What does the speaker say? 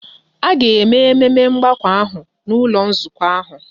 A ga-eme ememe mgbakọ ahụ n'ụlọ nzukọ ahụ.